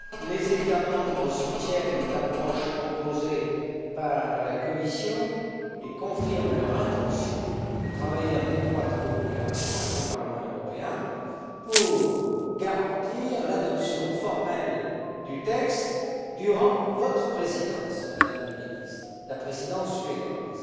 Les États membres soutiennent l'approche proposée par la Commission et confirment leur intention de travailler en étroite coopération avec le Parlement européen pour garantir l'adoption formelle du texte durant votre présidence, Madame la Ministre, la Présidence suédoise.